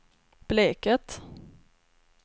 Bleket